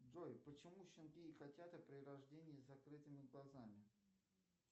джой почему щенки и котята при рождении с закрытыми глазами